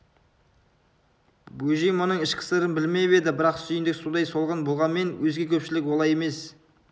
бөжей мұның ішкі сырын білмеп еді бірақ сүйіндік сондай солғын болғанмен өзге көпшілік олай емес